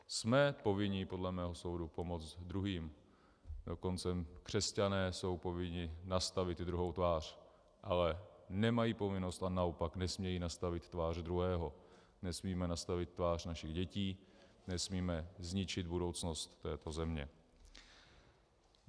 Jsme povinni podle mého soudu pomoct druhým, dokonce křesťané jsou povinni nastavit i druhou tvář, ale nemají povinnost a naopak nesmějí nastavit tvář druhého, nesmíme nastavit tvář našich dětí, nesmíme zničit budoucnost této země.